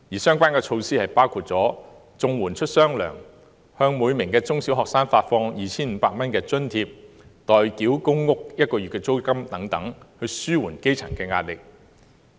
相關措施包括綜合社會保障援助出"雙糧"、向每名中小學生發放 2,500 元津貼、代繳公屋租金1個月等，以紓緩基層的壓力。